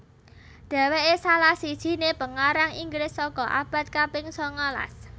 Dhéwéké salah sijiné pengarang Inggris saka abad kaping sangalas